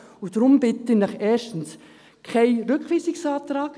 Deshalb bitte ich Sie erstens: keinen Rückweisungsantrag;